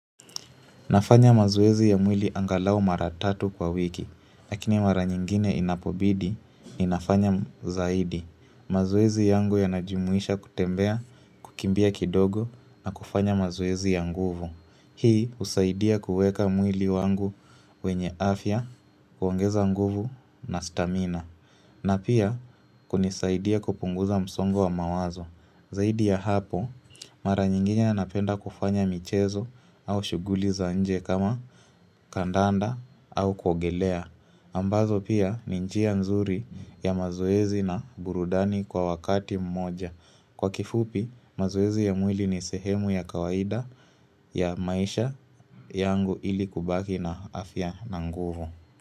Nafanya mazoezi ya mwili angalau maratatu kwa wiki, lakini mara nyingine inapobidi ni nafanya zaidi. Mazoezi yangu yanajumuisha kutembea, kukimbia kidogo na kufanya mazoezi ya nguvu. Hii husaidia kuweka mwili wangu wenye afya, kuongeza nguvu na stamina. Na pia kunisaidia kupunguza msongo wa mawazo. Zaidi ya hapo, mara nyingine napenda kufanya michezo au shughuli za nje kama kandanda au kuogelea. Ambazo pia ninjia mzuri ya mazoezi na burudani kwa wakati mmoja. Kwa kifupi, mazoezi ya mwili ni sehemu ya kawaida ya maisha yangu ili kubaki na afya na nguvu.